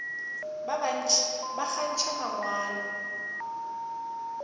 ba bantši ba kgantšha mangwalo